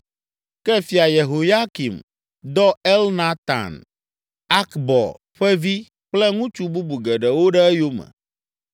Ke Fia Yehoyakim dɔ Elnatan, Akbor ƒe vi kple ŋutsu bubu geɖewo ɖe eyome.